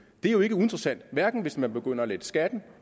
det er jo ikke uinteressant hverken hvis man begynder at lette skatten